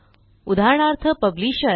उदाहरणार्थ पब्लिशर